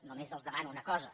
només els demano una cosa